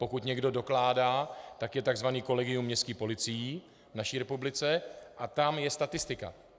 Pokud někdo dokládá, tak je tzv. kolegium městských policií v naší republice a tam je statistika.